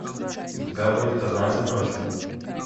у тебя будет однажды ночью